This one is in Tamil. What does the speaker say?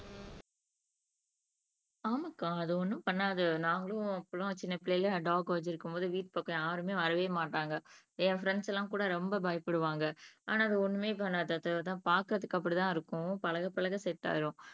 ஆமாக்கா அது ஒன்னும் பண்ணாது நாங்களும் அப்ப எல்லாம் சின்னப்புள்ளைல டாக் வச்சிருக்கும்போது வீட்டுக்கு பக்கத்துல யாருமே வரவே மாட்டாங்க என் பிரெண்ட்ஸ் எல்லாம் கூட ரொம்ப பயப்படுவாங்க ஆனா அது ஒண்ணுமே பண்ணாது அது பாக்கறதுக்கு அப்படிதான் இருக்கும் பழக பழக செட் ஆயிரும்